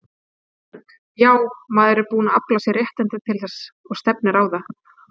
Vilberg: Já, maður er búinn að afla sér réttinda til þess og stefnir á það.